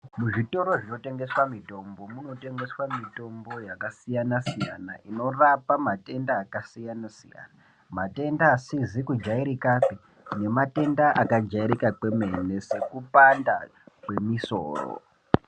Muzvitoro zvinotengeswa mitombo munotengeswa mitombo yakasiyana-siyana inorapa matenda akasiyana-siyana. Matenda asizi kujairikapi nematenda akajairika kwemene sekupanda kwemisoro.